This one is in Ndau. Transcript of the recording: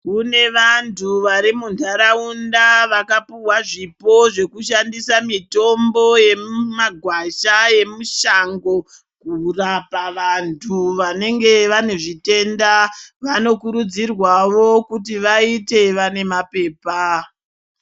Kune vantu vari munharaunda vakapihwa zvipo zvekushandisa mitombo yemumagwasha yemushango kurapa vantu. Vanenge vane zvitenda vanokurudzirwawo kuti vaite vane mapepa .